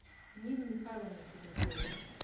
нину михайловну чернышову